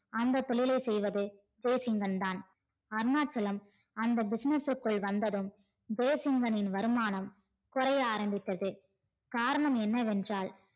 அந்த தொழிலை செய்வது ஜெசிங்கன் தான் அருணாச்சலம் அந்த business குள் வந்ததும் ஜெசிங்கனின் வருமானம் குறைய ஆரம்பித்தது காரணம் என்னவென்றால்